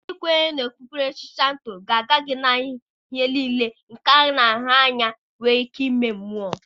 Ndị kwenyere na okpukpere Shịnto ga-aga gị na ihe niile nke a na-ahụ anya nwere ike ime mmụọ.